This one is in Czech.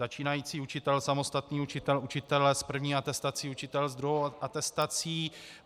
Začínající učitel, samostatný učitel, učitel s první atestací, učitel s druhou atestací.